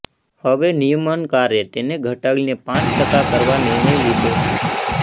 હવે નિયમનકારે તેને ઘટાડીને પાંચ ટકા કરવા નિર્ણય લીધો છે